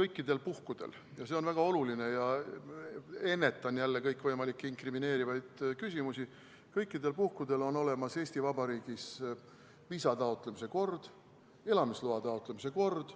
Kõikidel puhkudel – ja see on väga oluline, ennetan jälle kõikvõimalikke inkrimineerivaid küsimusi – on Eesti Vabariigis olemas viisa taotlemise kord, elamisloa taotlemise kord,